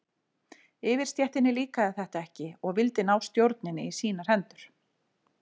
Yfirstéttinni líkaði þetta ekki og vildi ná stjórninni í sínar hendur.